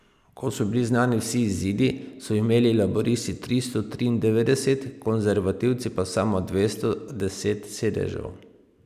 Ko so bili znani vsi izidi, so imeli laburisti tristo triindevetdeset, konservativci pa samo dvesto deset sedežev.